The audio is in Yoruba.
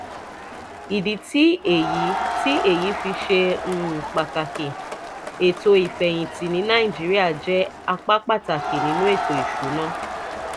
ìdí tí èyí tí èyí fi ṣe um pàtàkì: ètò ìfẹ̀yìntì ní nàìjíríà jẹ́ apá pàtàkì nínú ètò ìṣúnná